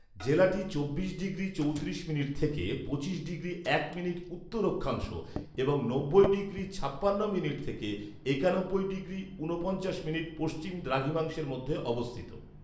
জেলাটি চব্বিশ ডিগ্রী চৌত্রিশ মিনিট’ থেকে পঁচিশ ডিগ্রী এক মিনিট’ উত্তর অক্ষাংশ এবং নব্বই ডিগ্রী ছাপান্ন মিনিট থেকে একানব্বই ডিগ্রী ঊনপঞ্চাশ মিনিট’ পশ্চিম দ্রাঘিমাংশের মধ্যে অবস্থিত